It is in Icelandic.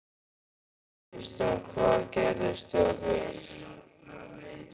Kristján: Hvað gerðist hjá þér?